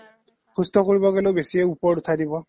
সুস্থ কৰিব গ'লেও বেছিয়ে উঠাই দিব